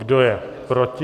Kdo je proti?